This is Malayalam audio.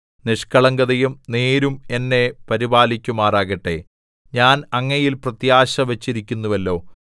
നിഷ്കളങ്കതയും നേരും എന്നെ പരിപാലിക്കുമാറാകട്ടെ ഞാൻ അങ്ങയിൽ പ്രത്യാശ വച്ചിരിക്കുന്നുവല്ലോ